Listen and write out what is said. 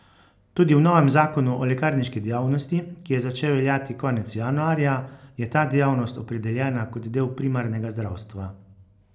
Tudi v novem zakonu o lekarniški dejavnosti, ki je začel veljati konec januarja, je ta dejavnost opredeljena kot del primarnega zdravstva.